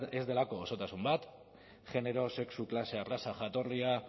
ez delako osotasun bat genero sexu klase arraza jatorria